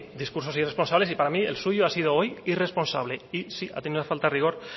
discursos irresponsables y para mí el suyo ha sido hoy irresponsable y sí ha tenido una falta de rigor